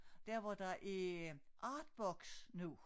Dér hvor der er artbox nu